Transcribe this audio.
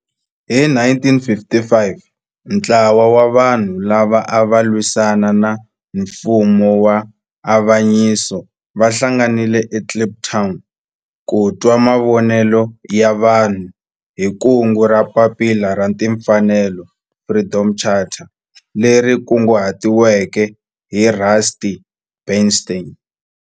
Hi 1955 ntlawa wa vanhu lava ava lwisana na nfumo wa avanyiso va hlanganile eKliptown ku twa mavonelo ya vanhu hi kungu ra Papila ra Tinfanelo, Freedom Charter, leri kunguhatiweke hi Rusty Bernstein.